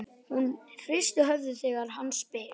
Hún hristir höfuðið þegar hann spyr.